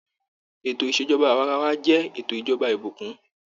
Ètò ìṣèjọba awarawa jẹ ètò ìjọba ìbùkún.